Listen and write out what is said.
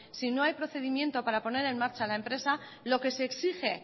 si no hay procedimiento para poner en marcha la empresa lo que se exige